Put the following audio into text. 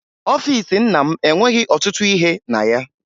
Ọfiisi nna m enweghi ọtụtụ ihe na ya